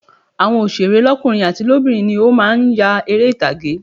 Àwọn òsèré lọ́kùnrin àti lóbìnrin ni ó má a nya eré ìtàgé